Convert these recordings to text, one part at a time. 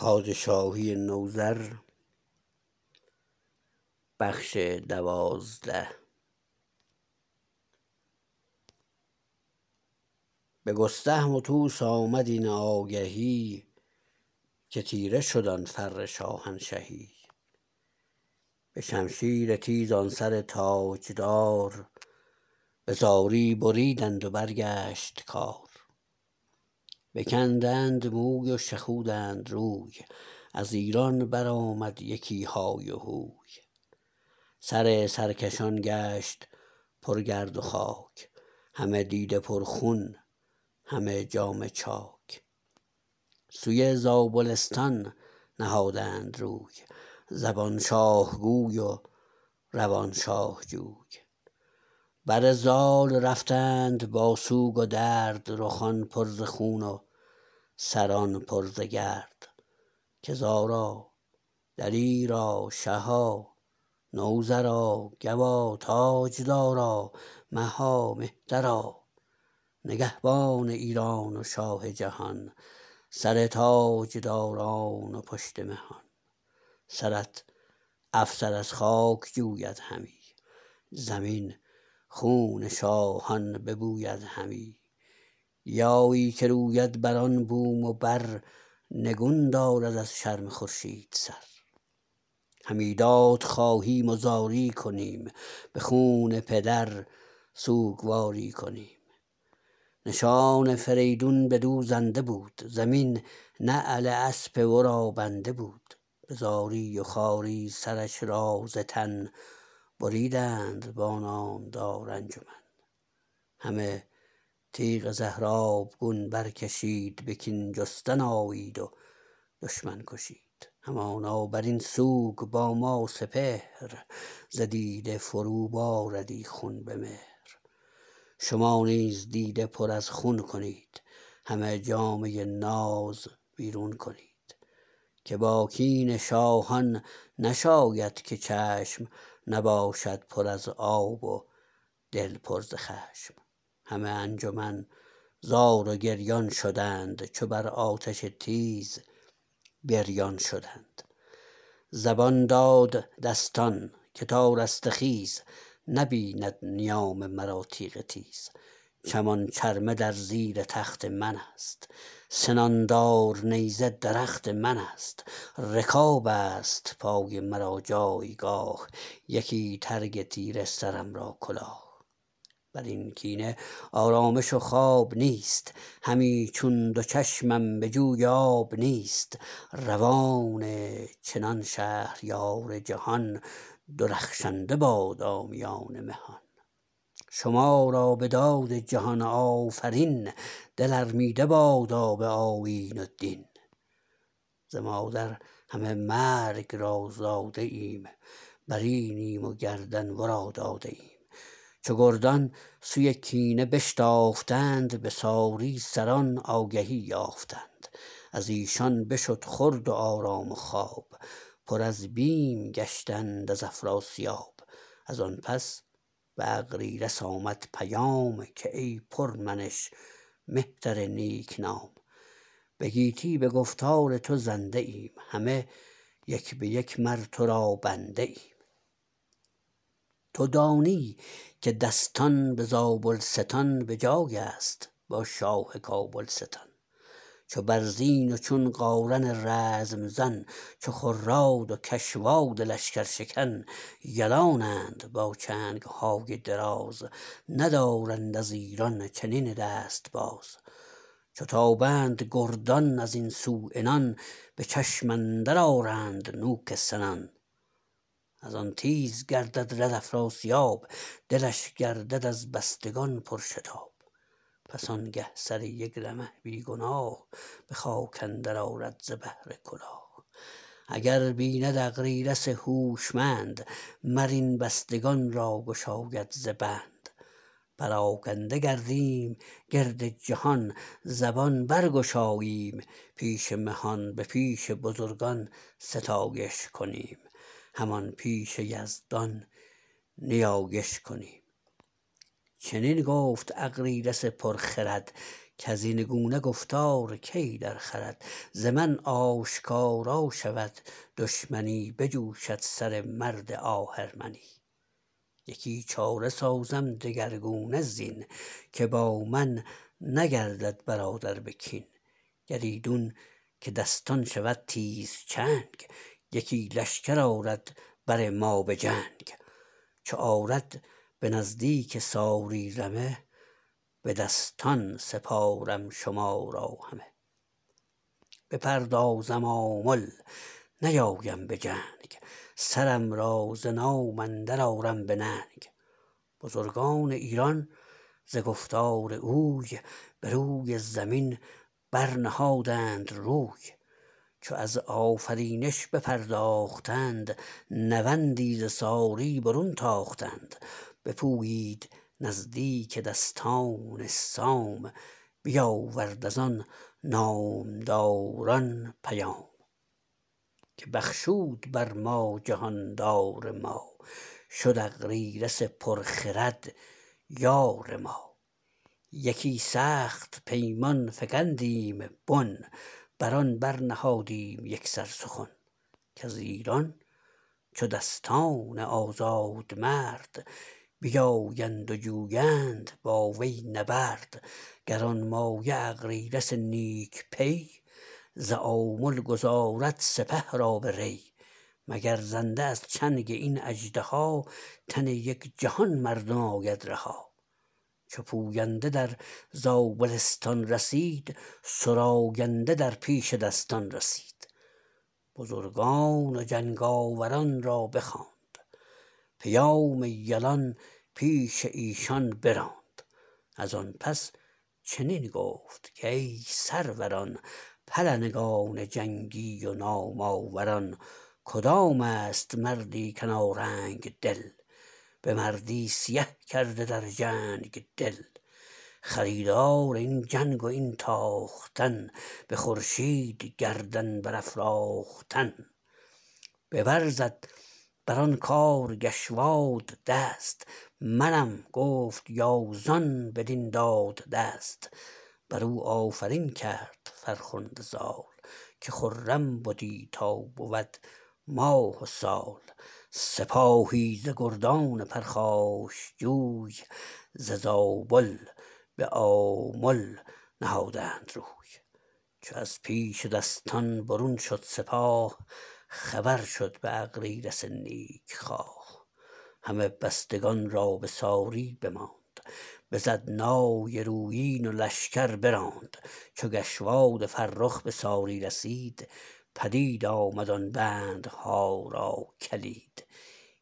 به گستهم و طوس آمد این آگهی که تیره شد آن فر شاهنشهی به شمشیر تیز آن سر تاجدار به زاری بریدند و برگشت کار بکندند موی و شخودند روی از ایران برآمد یکی های وهوی سر سرکشان گشت پرگرد و خاک همه دیده پر خون همه جامه چاک سوی زابلستان نهادند روی زبان شاه گوی و روان شاه جوی بر زال رفتند با سوگ و درد رخان پر ز خون و سران پر ز گرد که زارا دلیرا شها نوذرا گوا تاجدارا مها مهترا نگهبان ایران و شاه جهان سر تاجداران و پشت مهان سرت افسر از خاک جوید همی زمین خون شاهان ببوید همی گیایی که روید بران بوم و بر نگون دارد از شرم خورشید سر همی داد خواهیم و زاری کنیم به خون پدر سوگواری کنیم نشان فریدون بدو زنده بود زمین نعل اسپ ورا بنده بود به زاری و خواری سرش را ز تن بریدند با نامدار انجمن همه تیغ زهرآبگون برکشید به کین جستن آیید و دشمن کشید همانا برین سوگ با ما سپهر ز دیده فرو باردی خون به مهر شما نیز دیده پر از خون کنید همه جامه ناز بیرون کنید که با کین شاهان نشاید که چشم نباشد پر از آب و دل پر ز خشم همه انجمن زار و گریان شدند چو بر آتش تیز بریان شدند زبان داد دستان که تا رستخیز نبیند نیام مرا تیغ تیز چمان چرمه در زیر تخت منست سنان دار نیزه درخت منست رکابست پای مرا جایگاه یکی ترگ تیره سرم را کلاه برین کینه آرامش و خواب نیست همی چون دو چشمم به جوی آب نیست روان چنان شهریار جهان درخشنده بادا میان مهان شما را به داد جهان آفرین دل ارمیده بادا به آیین و دین ز مادر همه مرگ را زاده ایم برینیم و گردن ورا داده ایم چو گردان سوی کینه بشتافتند به ساری سران آگهی یافتند ازیشان بشد خورد و آرام و خواب پر از بیم گشتند از افراسیاب ازان پس به اغریرث آمد پیام که ای پرمنش مهتر نیک نام به گیتی به گفتار تو زنده ایم همه یک به یک مر ترا بنده ایم تو دانی که دستان به زابلستان به جایست با شاه کابلستان چو برزین و چون قارن رزم زن چو خراد و کشواد لشکرشکن یلانند با چنگهای دراز ندارند از ایران چنین دست باز چو تابند گردان ازین سو عنان به چشم اندر آرند نوک سنان ازان تیز گردد رد افراسیاب دلش گردد از بستگان پرشتاب پس آنگه سر یک رمه بی گناه به خاک اندر آرد ز بهر کلاه اگر بیند اغریرث هوشمند مر این بستگان را گشاید ز بند پراگنده گردیم گرد جهان زبان برگشاییم پیش مهان به پیش بزرگان ستایش کنیم همان پیش یزدان نیایش کنیم چنین گفت اغریرث پرخرد کزین گونه گفتار کی درخورد ز من آشکارا شود دشمنی بجوشد سر مرد آهرمنی یکی چاره سازم دگرگونه زین که با من نگردد برادر به کین گر ایدون که دستان شود تیزچنگ یکی لشکر آرد بر ما به جنگ چو آرد به نزدیک ساری رمه به دستان سپارم شما را همه بپردازم آمل نیایم به جنگ سرم را ز نام اندرآرم به ننگ بزرگان ایران ز گفتار اوی بروی زمین برنهادند روی چو از آفرینش بپرداختند نوندی ز ساری برون تاختند بپویید نزدیک دستان سام بیاورد ازان نامداران پیام که بخشود بر ما جهاندار ما شد اغریرث پر خرد یار ما یکی سخت پیمان فگندیم بن بران برنهادیم یکسر سخن کز ایران چو دستان آزادمرد بیایند و جویند با وی نبرد گرانمایه اغریرث نیک پی ز آمل گذارد سپه را به ری مگر زنده از چنگ این اژدها تن یک جهان مردم آید رها چو پوینده در زابلستان رسید سراینده در پیش دستان رسید بزرگان و جنگ آوران را بخواند پیام یلان پیش ایشان براند ازان پس چنین گفت کای سروران پلنگان جنگی و نام آوران کدامست مردی کنارنگ دل به مردی سیه کرده در جنگ دل خریدار این جنگ و این تاختن به خورشید گردن برافراختن ببر زد بران کار کشواد دست منم گفت یازان بدین داد دست برو آفرین کرد فرخنده زال که خرم بدی تا بود ماه و سال سپاهی ز گردان پرخاشجوی ز زابل به آمل نهادند روی چو از پیش دستان برون شد سپاه خبر شد به اغریرث نیک خواه همه بستگان را به ساری بماند بزد نای رویین و لشکر براند چو گشواد فرخ به ساری رسید پدید آمد آن بندها را کلید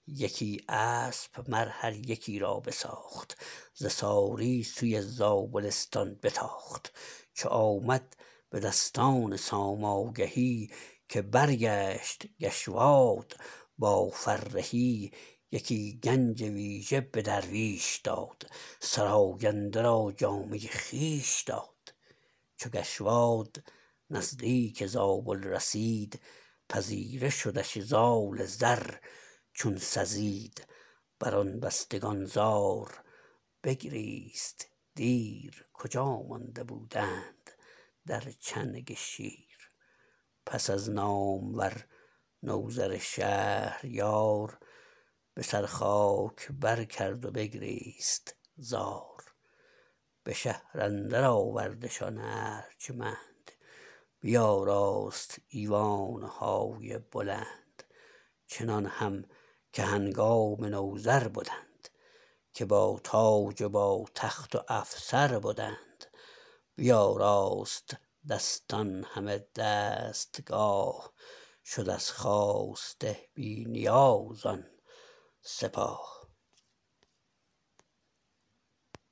یکی اسپ مر هر یکی را بساخت ز ساری سوی زابلستان بتاخت چو آمد به دستان سام آگهی که برگشت گشواد با فرهی یکی گنج ویژه به درویش داد سراینده را جامه خویش داد چو گشواد نزدیک زابل رسید پذیره شدش زال زر چون سزید بران بستگان زار بگریست دیر کجا مانده بودند در چنگ شیر پس از نامور نوذر شهریار به سر خاک بر کرد و بگریست زار به شهر اندر آوردشان ارجمند بیاراست ایوانهای بلند چنان هم که هنگام نوذر بدند که با تاج و با تخت و افسر بدند بیاراست دستان همه دستگاه شد از خواسته بی نیاز آن سپاه